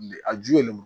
A ju ye lemuru